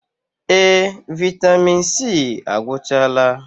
Ee! Vaịtamịn C agwụchaala.